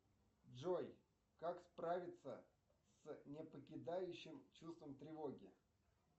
джой как справиться с непокидающим чувством тревоги